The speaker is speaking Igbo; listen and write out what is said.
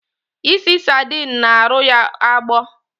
Ịsị sardine na arụ ya agbọ